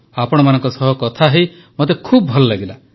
ଆପଣମାନଙ୍କ ସହିତ କଥା ହୋଇ ମୋତେ ଖୁବ ଭଲ ଲାଗିଲା